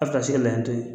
A bɛ taa se layi t'o ye